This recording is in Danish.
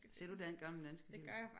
Ser du gamle danske film